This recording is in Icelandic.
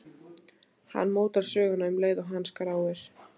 Hann mótar söguna um leið og hann skráir.